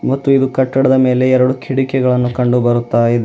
ಮತ್ತು ಇದು ಕಟ್ಟಡದ ಮೇಲೆ ಎರಡು ಕಿಡಕಿಗಳನ್ನು ಕಂಡು ಬರುತ್ತ ಇದೆ.